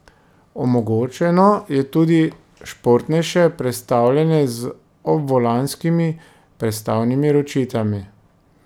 Omogočeno je tudi športnejše prestavljanje z obvolanskimi prestavnimi ročicami.